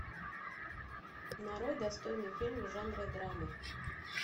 нарой достойный фильм в жанре драмы